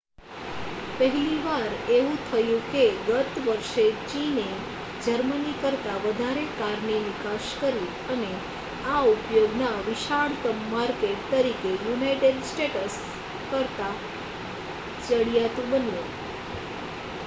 પહેલી વાર એવું થયું કે ગત વર્ષે ચીને જર્મની કરતાં વધારે કારની નિકાસ કરી અને આ ઉદ્યોગના વિશાળતમ માર્કેટ તરીકે યુનાઇટેડ સ્ટેટ્સ કરતાં ચડિયાતું બન્યું